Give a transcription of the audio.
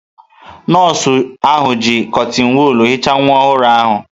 Nọọsụ ahụ ji kọtịn wọọl hichaa nwa ọhụrụ ahụ.